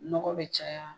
Nɔgɔ bɛ caya